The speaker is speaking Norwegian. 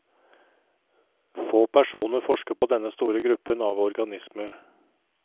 Få personer forsker på denne store gruppen av organismer.